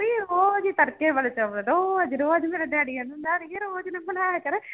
ਵੀ ਰੋਜ਼ ਹੀ ਤੜਕੇ ਵਾਲੇ ਚੋਲ ਰੋਜ਼ ਰੋਜ਼ ਮੇਰਾ daddy ਕਹਿੰਦਾ ਆੜੀਏ ਰੋਜ਼ ਨਾ ਬਣਾਇਆ ਕਰ